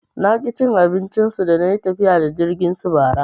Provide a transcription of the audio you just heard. Naki cin abincin su dana yi tafiya da jirgin su bara.